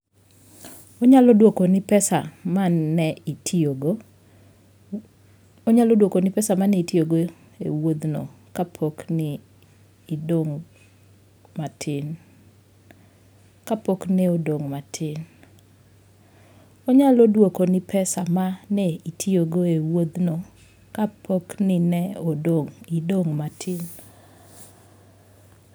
Onyalo dwokoni pesa ma ne itiyogo e wuodhno kapo ni ne idong' matin.